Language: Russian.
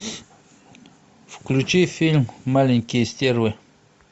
включи фильм маленькие стервы